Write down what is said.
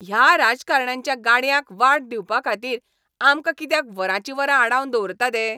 ह्या राजकारण्यांच्या गाडयांक वाट दिवपाखातीर आमकां कित्याक वरांचीं वरां आडावन दवरतात हे?